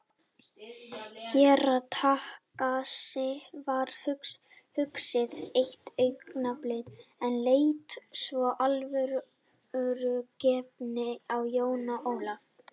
Herra Takashi varð hugsi eitt augnablik en leit svo alvörugefinn á Jón Ólaf.